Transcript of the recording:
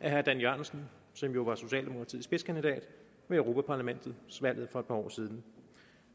af dan jørgensen som jo var socialdemokratiets spidskandidat ved europaparlamentsvalget for et par år siden